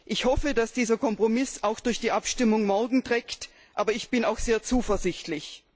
Ich hoffe, dass dieser Kompromiss auch in der Abstimmung morgen Bestand hat, aber ich bin auch sehr zuversichtlich.